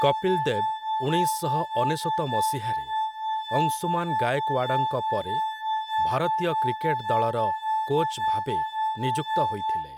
କପିଲ୍ ଦେବ୍ ଉଣେଇଶ ଶହ ଅନେଶତ ମସିହାରେ, ଅଂଶୁମାନ୍ ଗାଏକ୍ଓ୍ୱାଡଙ୍କ ପରେ, ଭାରତୀୟ କ୍ରିକେଟ ଦଳର କୋଚ୍ ଭାବେ ନିଯୁକ୍ତ ହୋଇଥିଲେ ।